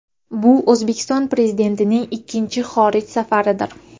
Bu O‘zbekiston Prezidentining ikkinchi xorij safaridir.